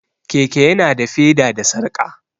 Keke ya na da feda da sarƙa